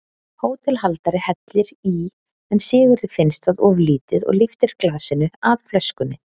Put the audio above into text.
Hótelhaldari hellir í en Sigurði finnst það of lítið og lyftir glasinu að flöskunni.